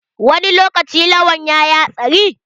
Wani lokaci Lawan yayi hatsari?